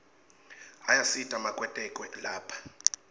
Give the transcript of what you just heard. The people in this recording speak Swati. ayasita makwetekwe lapha